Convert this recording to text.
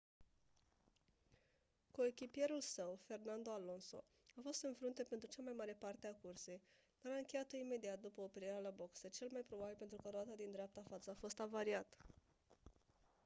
coechipierul său fernando alonso a fost în frunte pentru cea mai mare parte a cursei dar a încheiat-o imediat după oprirea la boxe cel mai probabil pentru că roata din dreapta față a fost avariată